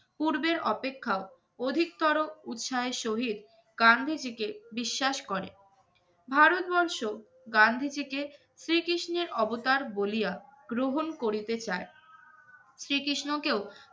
পূর্বের অপেক্ষা অধিকতর উৎসাহের সহিত গান্ধীজীকে বিশ্বাস করে। ভারতবর্ষ গান্ধীজীকে শ্রীকৃষ্ণের অবতার বলিয়া গ্রহণ করিতে চায়। শ্রীকৃষ্ণকেও